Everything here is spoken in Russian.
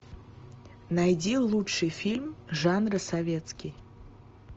найди лучший фильм жанра советский